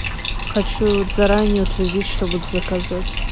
хочу заранее утвердить что буду заказывать